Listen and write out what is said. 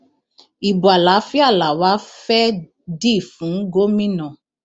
ibo àlàáfíà làwa fẹẹ dì fún gómìnà